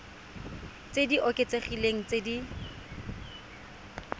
tse di oketsegileng tse di